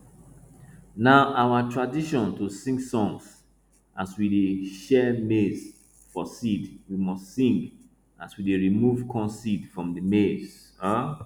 na our tradition to sing songs as we dey shell maize for seed we must sing as we dey remove corn seed from di maize um